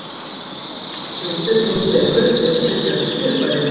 Þetta þýðir að myndin sem þú tekur er stillt fyrir björt fyrirbæri.